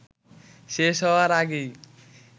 শেষ হওয়ার আগেই